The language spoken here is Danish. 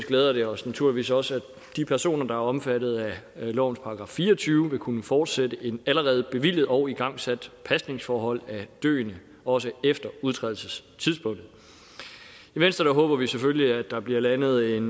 glæder det os naturligvis også at de personer der er omfattet af lovens § fire og tyve vil kunne fortsætte et allerede bevilget og igangsat pasningsforhold af døende også efter udtrædelsestidspunktet i venstre håber vi selvfølgelig at der bliver landet en